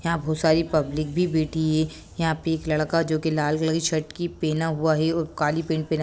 यहाँ बहुत सारी पब्लिक भी बैठी हैं यहाँ पे एक लड़का जो कि लाल कलर की शर्ट की पहना हुआ है और काली पेंट पे --